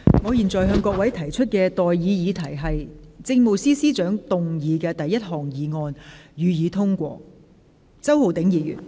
我現在向各位提出的待議議題是：政務司司長動議的第一項議案，予以通過。